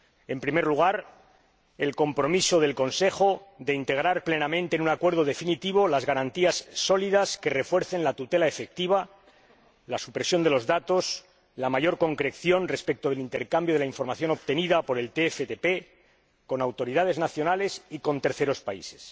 En primer lugar, el Consejo se compromete a integrar plenamente en un acuerdo definitivo las garantías sólidas que refuercen la tutela efectiva, la supresión de los datos y la mayor concreción respecto del intercambio de la información obtenida por el TFTP con autoridades nacionales y con terceros países.